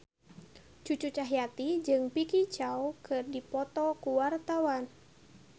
Cucu Cahyati jeung Vicki Zao keur dipoto ku wartawan